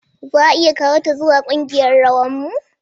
Za a iya kawo ta zuwa ƙungiyarrawan mu?